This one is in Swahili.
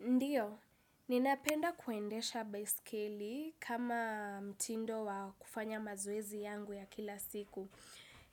Ndiyo, ninapenda kuendesha baiskeli kama mtindo wa kufanya mazoezi yangu ya kila siku.